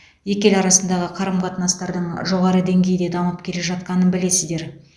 екі ел арасындағы қарым қатынастардың жоғары деңгейде дамып келе жатқанын білесіздер